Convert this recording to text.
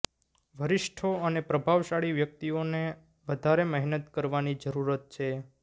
વરિષ્ઠો અને પ્રભાવશાળી વ્યક્તિઓ ને વધારે મહેનત કરવાની જરૂરત છે